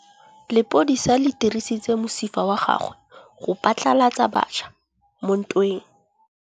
Lepodisa le dirisitse mosifa wa gagwe go phatlalatsa batšha mo ntweng.